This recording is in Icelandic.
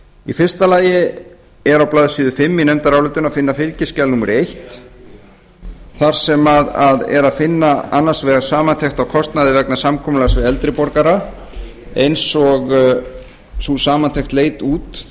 í fyrsta lagi er á blaðsíðu fimm í nefndarálitinu að finna fylgiskjal númer eitt þar sem er að finna annars vegar samantekt á kostnaði vegna samkomulags við eldri borgara eins og sú samantekt leit út